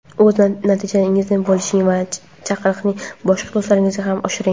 o‘z natijangizni bo‘lishing va chaqiriqni boshqa do‘stlaringizga ham oshiring!.